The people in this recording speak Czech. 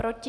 Proti?